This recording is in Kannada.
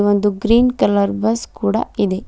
ಒಂದು ಗ್ರೀನ್ ಕಲರ್ ಬಸ್ ಕೂಡ ಇದೆ.